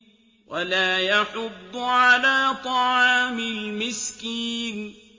وَلَا يَحُضُّ عَلَىٰ طَعَامِ الْمِسْكِينِ